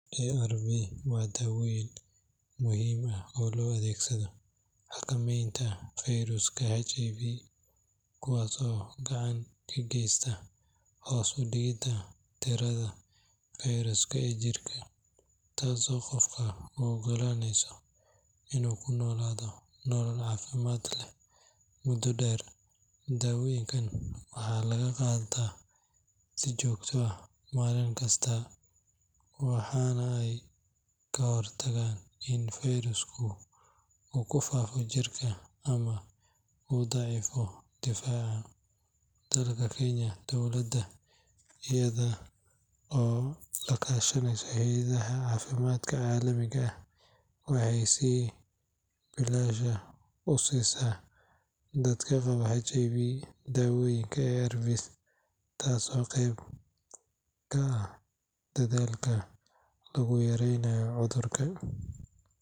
ARV waa daawooyin muhiim ah oo loo adeegsado xakameynta fayraska HIV, kuwaas oo gacan ka geysta hoos u dhigidda tirada fayraska ee jirka, taasoo qofka u oggolaaneysa inuu ku noolaado nolol caafimaad leh muddo dheer. Daawooyinkan waxaa lagu qaataa si joogto ah, maalin kasta, waxaana ay ka hortagaan in fayrasku uu ku faafo jirka ama uu daciifiyo difaaca. Dalka Kenya, dowladda iyada oo la kaashaneysa hay’adaha caafimaadka caalamiga ah waxay si bilaash ah u siisaa dadka qaba HIV daawooyinkan ARV, taasoo qeyb ka ah dadaalka lagu yareynayo cudurka.